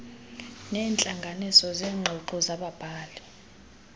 neentlanganiso zeengxoxo zababhali